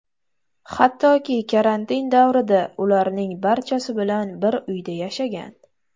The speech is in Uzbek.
Hattoki karantin davrida ularning barchasi bilan bir uyda yashagan.